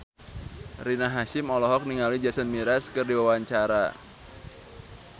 Rina Hasyim olohok ningali Jason Mraz keur diwawancara